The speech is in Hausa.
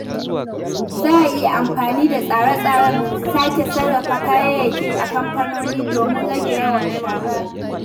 Za a iya amfani da tsare-tsaren sake sarrafa kayayyaki a kamfanoni domin rage yawan shara.